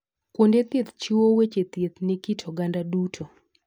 Kuonde thieth chiwo weche thieth ne kit oganda duto.